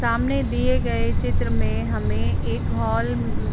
सामने दिए गए चित्र में हमें एक हाल --